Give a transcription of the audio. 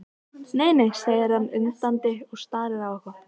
Nei, nei, segir hann undandi og starir á eitthvað.